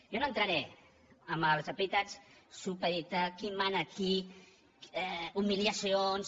jo no entraré en els epítets supeditar qui mana a qui humiliacions